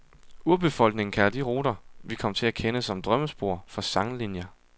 Urbefolkningen kalder de ruter, vi kom til at kende som drømmespor, for sanglinjer.